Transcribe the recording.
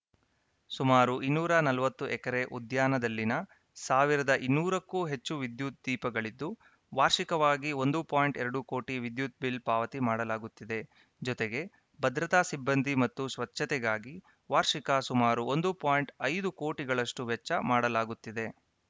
ಸುಮಾರು ಇನ್ನೂರ ನಲವತ್ತು ಎಕರೆ ಉದ್ಯಾನದಲ್ಲಿನ ಸಾವಿರದ ಇನ್ನೂರಕ್ಕೂ ಹೆಚ್ಚು ವಿದ್ಯುತ್‌ ದೀಪಗಳಿದ್ದು ವಾರ್ಷಿಕವಾಗಿ ಒಂದು ಪಾಯಿಂಟ್ ಎರಡು ಕೋಟಿ ವಿದ್ಯುತ್‌ ಬಿಲ್‌ ಪಾವತಿ ಮಾಡಲಾಗುತ್ತಿದೆ ಜೊತೆಗೆ ಭದ್ರತಾ ಸಿಬ್ಬಂದಿ ಮತ್ತು ಸ್ವಚ್ಛತೆಗಾಗಿ ವಾರ್ಷಿಕ ಸುಮಾರು ಒಂದು ಪಾಯಿಂಟ್ ಐದು ಕೋಟಿಗಳಷ್ಟುವೆಚ್ಚ ಮಾಡಲಾಗುತ್ತಿದೆ